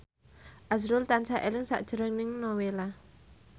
azrul tansah eling sakjroning Nowela